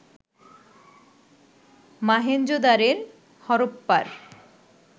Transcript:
Mohenjodaro হরপ্পার